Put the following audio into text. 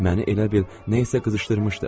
Məni elə bil nəyisə qızışdırmışdı.